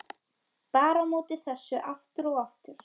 Bar á móti þessu aftur og aftur.